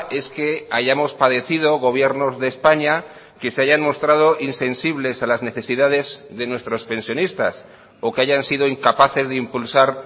es que hayamos padecido gobiernos de españa que se hayan mostrado insensibles a las necesidades de nuestros pensionistas o que hayan sido incapaces de impulsar